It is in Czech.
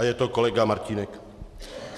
A je to kolega Martínek.